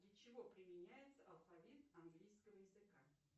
для чего применяется алфавит английского языка